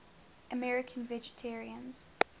american vegetarians